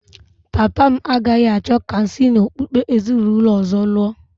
Papa m agaghị achọ ka m si n’okpukpe ezinụlọ ọzọ lụọ